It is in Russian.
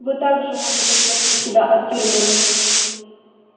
вы также можете спасти себя от тюрьмы